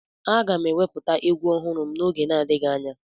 Aga m ewepụta egwu ọhụrụ n'oge na-adịghị anya